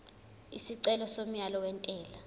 isicelo somyalo wentela